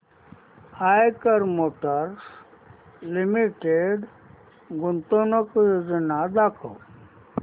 Eicher motors limited गुंतवणूक योजना दाखव